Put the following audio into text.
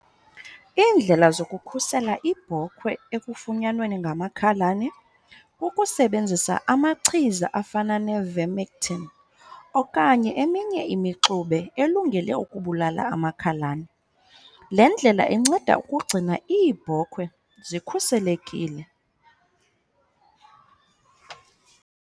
Iindlela zokukhusela ibhokhwe ekufunyanweni ngamakhalane, ukusebenzisa amachiza afana neVimectin okanye eminye imixube elungele ukubulala amakhalane. Le ndlela inceda ukugcina iibhokhwe zikhuselekile.